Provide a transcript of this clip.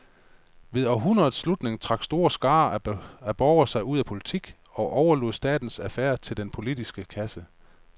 Ved århundredets slutning trak store skarer af borgere sig ud af politik og overlod statens affærer til den politiske klasse.